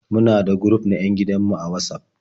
Muna da guruf na 'yan gidan mu a Watsaf.